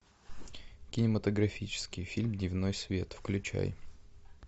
кинематографический фильм дневной свет включай